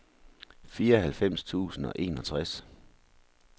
fireoghalvfems tusind og enogtres